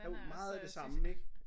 Jo meget af det samme ik?